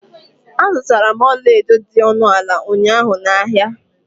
Azutara m ọlaedo dị ọnụ ala ụnyaahụ na ahịa.